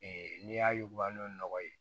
n'i y'a ye u ka nɔnɔ ye